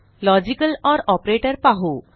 logical or operator पाहू